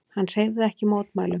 Hann hreyfði ekki mótmælum.